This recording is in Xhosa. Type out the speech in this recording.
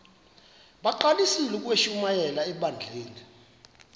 bagqalisele ukushumayela ebandleni